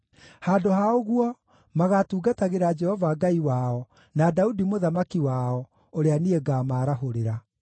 Handũ ha ũguo, magaatungatagĩra Jehova Ngai wao, na Daudi mũthamaki wao, ũrĩa niĩ ngaamarahũrĩra.